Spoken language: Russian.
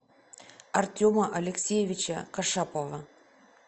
артема алексеевича кашапова